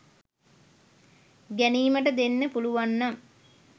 ගැනීමට දෙන්න පුලුවන්නම්